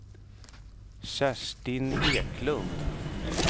Kerstin Eklund